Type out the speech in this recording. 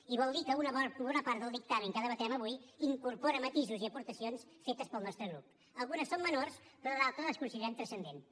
i vol dir que una bona part del dictamen que debatem avui incorpora matisos i aportacions fetes pel nostres grup algunes són menors però d’altres les considerem transcendents